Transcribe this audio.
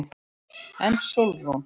En Sólrún?